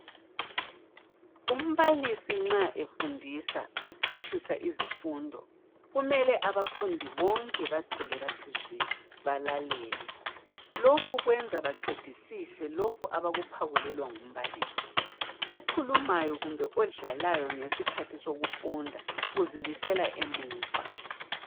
umbalisi nxa efundisa echasisa izifundo kumele abafundi bonke bathule bathi zwi balalele lokhu kwenza baqedisise lokhu abakuphakulelwa ngumbalisi okhulumayo kumbe odlalayo ngesikhathi sokufunda uzibisela emuva